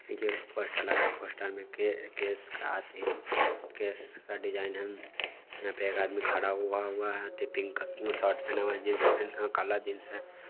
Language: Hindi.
देखिए पोस्टर लगा पोस्टर में केश का अथि केश का डिजाइन है यहां पे एक आदमी खड़ा हुआ हुआ है अथि पिंक शर्ट पहना हुआ है जींस काला जींस है।